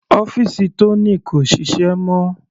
Ọ́fìsì Tony kò ṣiṣẹ́ mọ́.